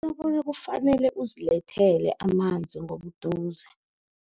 Kufanele uzilethele amanzi ngobuduze.